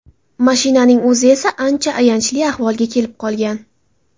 Mashinaning o‘zi esa ancha ayanchli ahvolga kelib qolgan.